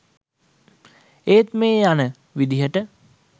ඒත් මේ යන විදිහට